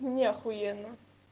мне ахуенно